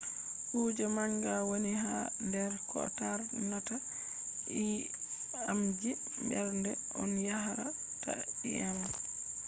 kuje manga wooni ha der ko tarnata ii’amji mberde on yaara ta ii’am